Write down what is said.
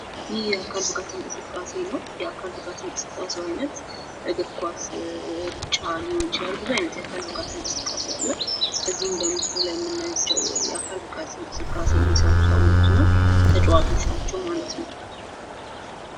ይህ የአካል ብቃት እንቅስቃሴ ነው። የአካል ብቃት እንቅስቃሴ እግር፣ ኳስ ሩጫ ሊሆን ይችላል። ብዙ አይነት የአካል ብቃት እንቅስቃሴ አሉ። እዚህ በምስሉ ላይ የምንመለካታቸው የአካል ብቃት እንቅስቃሴ የሚሰሩ ሰወችን ነው።